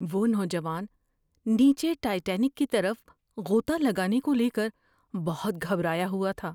وہ نوجوان نیچے ٹائٹینک کی طرف غوطہ لگانے کو لے کر بہت گھبرایا ہوا تھا۔